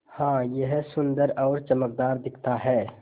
हाँ यह सुन्दर और चमकदार दिखता है